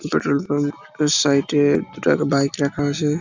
Petrol pump - এর side -এ দুটা বাইক রাখা আছে।